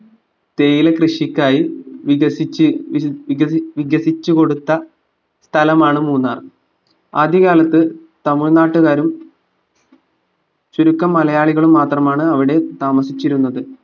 തേയിലക്കൃഷിക്കായി വികസിച് വിക വികസിച്ചു കൊടുത്ത സ്ഥലമാണ് മൂന്നാർ ആദ്യ കാലത് തമിഴ്നാട്ടുകാരും ചുരുക്കം മലയാളികളും മാത്രമാണ് അവിടെ താമസിച്ചിരുന്നത്